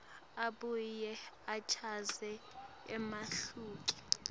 abuye achaze umehluko